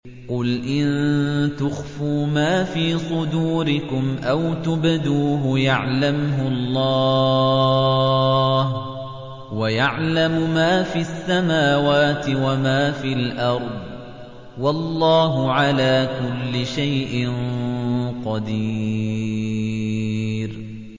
قُلْ إِن تُخْفُوا مَا فِي صُدُورِكُمْ أَوْ تُبْدُوهُ يَعْلَمْهُ اللَّهُ ۗ وَيَعْلَمُ مَا فِي السَّمَاوَاتِ وَمَا فِي الْأَرْضِ ۗ وَاللَّهُ عَلَىٰ كُلِّ شَيْءٍ قَدِيرٌ